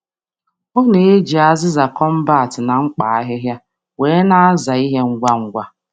Ọ na-eji mmaja na efere ájá dị nta maka nhicha ngwa ngwa n’ime ụbọchị.